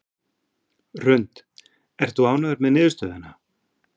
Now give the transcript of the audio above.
Hrund: Ert þú ánægður með niðurstöðuna?